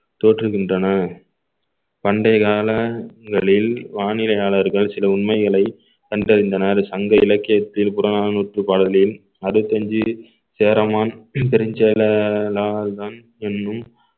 தோற்றுகின்றன பண்டைய காலங்களில் வானிலையாளர்கள் சில உண்மைகளை கண்டறிந்தனர் சங்க இலக்கியத்தில் புறநானூற்று பாடல்களையும் அறுவத்தி அஞ்சு சேரமான் என்னும்